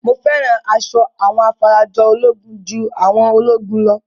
Mo fẹ́ràn asọ àwọn afarajolúgun ju àwọn ológun lọ